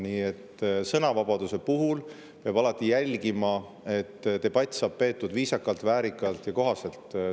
Nii et sõnavabaduse puhul peab alati jälgima, et debatt saaks peetud viisakalt, väärikalt ja kohasel viisil.